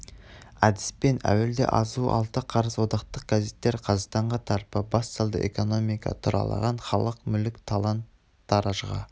әдіспен әуел азуы алты қарыс одақтық газеттер қазақстанға тарпа бас салды экономика тұралаған халық мүлік талан-таражыға